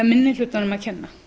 minni hlutanum að kenna